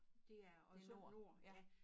Det er og så nord ja